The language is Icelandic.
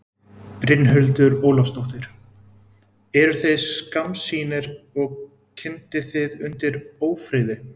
Brynhildur Ólafsdóttir: Eruð þið skammsýnir og kyndið þið undir ófriði?